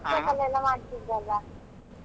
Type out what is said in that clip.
TikTok ಎಲ್ಲ ಮಾಡ್ತಿದ್ರಲ್ಲ?